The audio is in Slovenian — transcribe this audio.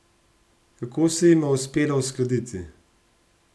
Kako se jima je uspelo uskladiti?